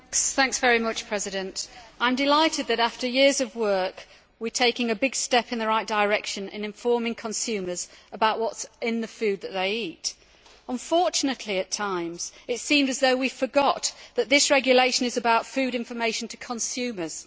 Madam President, I am delighted that, after years of work, we are taking a big step in the right direction in informing consumers about what is in the food that they eat. Unfortunately, it seemed at times as though we forgot that this regulation is about food information to consumers.